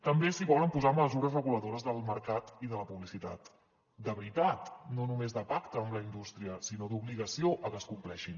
també si volen posar mesures reguladores del mercat i de la publicitat de veritat no només de pacte amb la indústria sinó d’obligació que es compleixin